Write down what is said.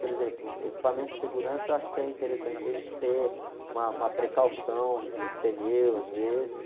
Por exemplo, equipamento de segurança, eu acho que é interessante a gente ter uma, uma precaução de pneu, às vezes.